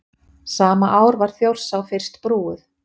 Sama ár var Þjórsá fyrst brúuð.